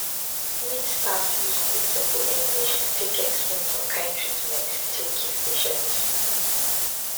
wen staff use good simple english to take explain some kind treatment take give patients